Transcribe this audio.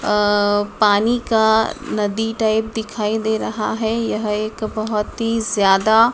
अह पानी का नदी टाइप दिखाई दे रहा है यह एक बहुत ही ज्यादा--